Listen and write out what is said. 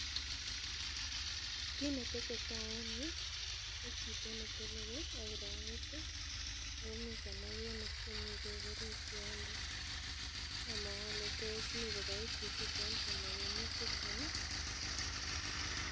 Kit netesetai en yuu ko chito neteleli ak kirait ih ako mii samakinik chemii beek orit yondo, among'u ole tos mii koboe chichiton samakinik chuton ih